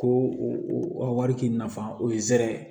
Ko wari k'i nafa o ye zɛrɛ ye